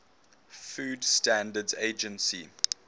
food standards agency